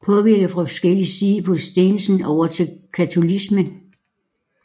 Påvirket fra forskellig side gik Steensen over til katolicismen